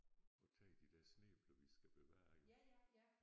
Og tager de der snæbler vi skal bevare jo